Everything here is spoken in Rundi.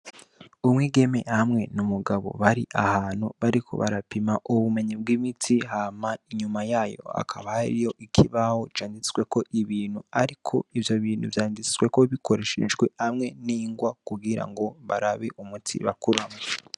Umwigeme hamwe n'umugabo bari ahantu bariko barapima ubumenyi bw'imiti, hama inyuma yayo hakaba hariyo ikibaho canditseko ibintu ariko ivyo bintu vyanditseko bikoreashejwe hamwe n'ingwa kugira ngo barabe umuti bakora.